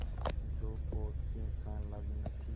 जो पोत से संलग्न थी